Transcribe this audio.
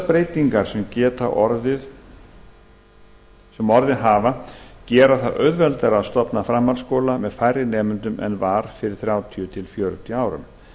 breytingar sem sem orðið hafa gera það auðveldara að stofna framhaldsskóla með færri nemendum en var fyrir þrjátíu til fjörutíu árum